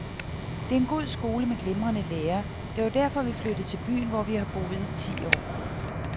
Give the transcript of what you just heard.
Det er en god skole med glimrende lærere, det var derfor vi flyttede til byen, hvor vi har boet i ti år.